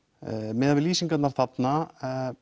miðað við lýsingarnar þarna